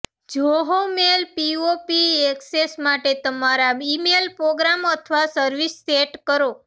Zoho mail POP access માટે તમારા email program અથવા સર્વિસ સેટ કરો